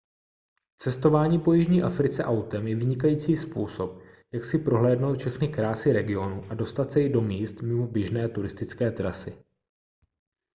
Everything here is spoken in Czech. cestování po jižní africe autem je vynikající způsob jak si prohlédnout všechny krásy regionu a dostat se i do míst mimo běžné turistické trasy